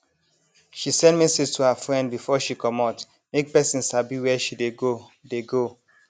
she send message to her friend before she comot make person sabi where she dey go dey go